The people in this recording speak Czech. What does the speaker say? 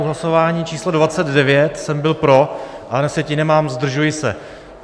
U hlasování číslo 29 jsem byl pro, ale na sjetině mám "zdržuji se".